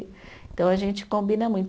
Então, a gente combina muito.